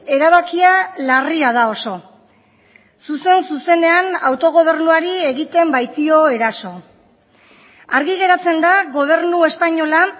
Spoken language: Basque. erabakia larria da oso zuzen zuzenean autogobernuari egiten baitio eraso argi geratzen da gobernu espainola